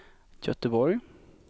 Göteborg